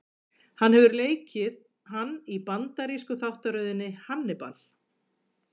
Hann hefur leikið hann í bandarísku þáttaröðinni Hannibal.